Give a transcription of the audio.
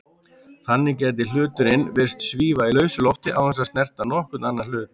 Þannig gæti hluturinn virst svífa í lausu lofti án þess að snerta nokkurn annan hlut.